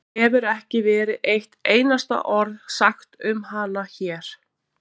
Það hefur ekki verið eitt einasta orð sagt um hana hér.